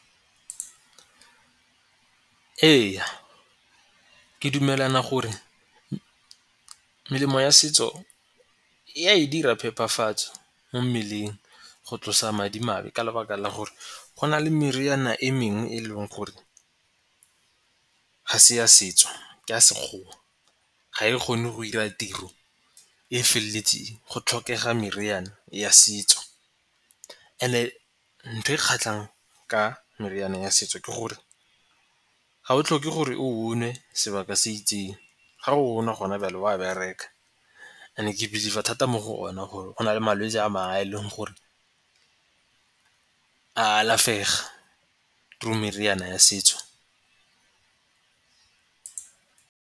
Ee, ke dumelana gore melemo ya setso e a e dira phepafatso mo mmeleng go tlosa madimabe ka lebaka la gore go na le meriana e mengwe e leng gore ga se ya setso ke a Sekgowa. Ga e kgone go ira tiro e feleletseng go tlhokega meriane ya setso. And-e ntho e kgatlhang ka meriane ya setso ke gore ga o tlhoke gore o o nwe sebaka se itseng ga o na gona bjale o a bereka. And-e ke believe-a thata mo go one gore go nale malwetsi a mangwe a e leng gore a alafega through meriana ya setso.